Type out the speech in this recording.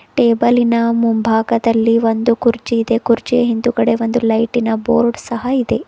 ಟೇಬಲಿ ನ ಮುಂಭಾಗದಲ್ಲಿ ಒಂದು ಕುರ್ಚಿ ಇದೆ ಕುರ್ಚಿಯ ಹಿಂದುಗಡೆ ಒಂದು ಲೈಟಿ ನ ಬೋರ್ಡ್ ಸಹ ಇದೆ.